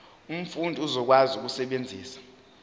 umfundi uzokwazi ukusebenzisa